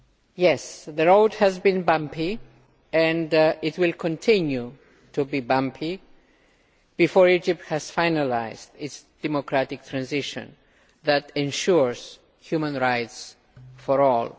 Yes, the road has been bumpy and it will continue to be bumpy before Egypt has finalised its democratic transition that ensures human rights for all.